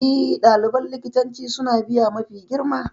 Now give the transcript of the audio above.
E, ɗaliban likitanci suna biya mafi girma.